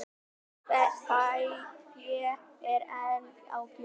Fé er enn á gjöf